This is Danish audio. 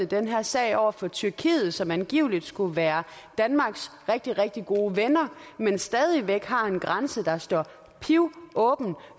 den her sag over for tyrkiet som angiveligt skulle være danmarks rigtig rigtig gode ven men stadig væk har en grænse der står pivåben